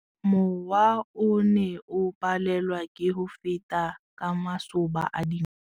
Mowa o ne o palelwa ke go feta ka masoba a dinko.